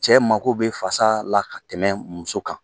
Cɛ mago bɛ fasa la ka tɛmɛ muso kan!